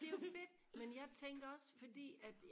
det er jo fedt men jeg tænkte også fordi at